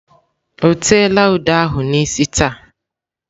O teela ude ahụ n'isi taa?